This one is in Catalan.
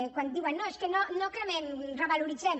quan diuen no és que no cremem revalorem